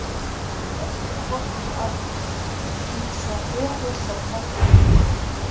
Þú veist hvernig fólk getur orðið: Eins og höfuðsóttargemlingar.